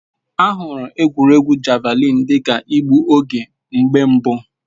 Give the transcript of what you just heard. A hụrụ egwuregwu Javalịn dị ka igbu oge mgbe mbụ.